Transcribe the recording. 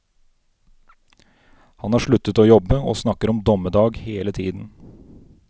Han har sluttet å jobbe og snakker om dommedag hele tiden.